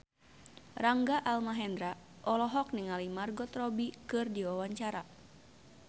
Rangga Almahendra olohok ningali Margot Robbie keur diwawancara